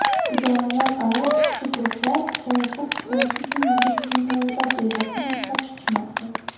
idoralararo ishchi guruhlar "sayohat tiklanishi uchun yangi tizim tayyorlash" rejasini ishlab chiqishmoqda.